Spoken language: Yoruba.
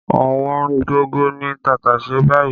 Ọ̀wọ́ngógó ni tàtàṣé báyìí